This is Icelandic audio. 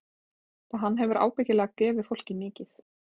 Og hann hefur ábyggilega gefið fólki mikið.